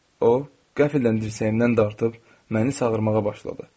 O qəfildən dirsəyimdən dartıb məni çağırmağa başladı.